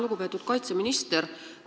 Lugupeetud kaitseminister!